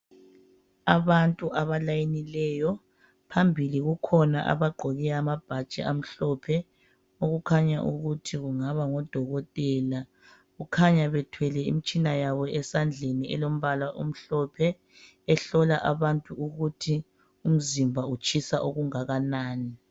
Abantu abalayinileyo, phambili kukhona abagqoke amabhatshi amhlophe okukhanya ukuthi kungaba ngodokotela. Kukhanya bethwele imitshina yabo esandleni elombala omhlophe ehlola abantu ukuthi umzimba utshisa okungakanani.